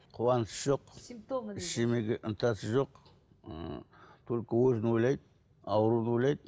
қуаныш жоқ ештеңеге ынтасы жоқ ы только өзін ойлайды ауруды ойлайды